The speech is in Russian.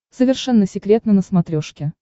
совершенно секретно на смотрешке